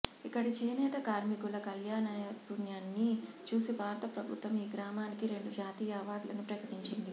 ఇక్కడి చేనేత కార్మికుల కళానైపుణ్యాన్ని చూసి భారత ప్రభుత్వం ఈ గ్రామానికి రెండు జాతీయ అవార్డులను ప్రకటించింది